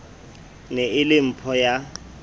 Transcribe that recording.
ne e le mpho ya